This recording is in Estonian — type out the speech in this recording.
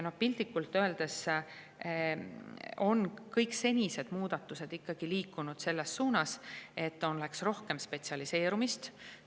Piltlikult öeldes on kõik senised muudatused ikkagi liikunud selles suunas, et oleks rohkem spetsialiseerumist.